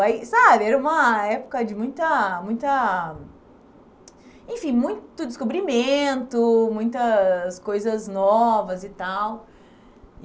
Aí, sabe, era uma época de muita muita... Enfim, muito descobrimento, muitas coisas novas e tal.